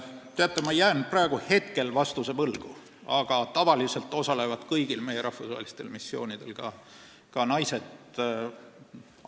Teate, ma jään praegu vastuse võlgu, aga tavaliselt osalevad kõigil meie rahvusvahelistel missioonidel ka naised.